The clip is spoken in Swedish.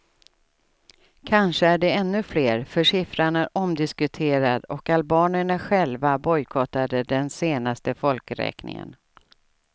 Kanske är de ännu fler, för siffran är omdiskuterad och albanerna själva bojkottade den senaste folkräkningen.